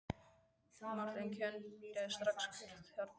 Marteinn kenndi strax hver þar talaði.